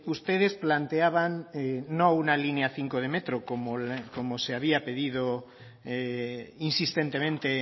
ustedes planteaban no una línea cinco de metro como se había pedido insistentemente